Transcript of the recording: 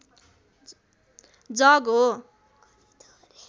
जग हो